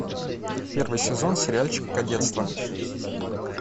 первый сезон сериальчик кадетство